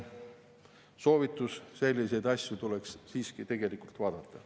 Soovitus: selliseid asju tuleks siiski vaadata.